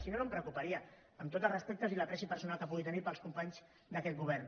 si no no em preocuparia amb tots els respectes i l’estimació personal que pugui tenir pels companys d’aquest govern